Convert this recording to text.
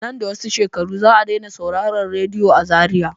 Nan da wasu shekaru za a dai na sauraran radiyo a Zariya.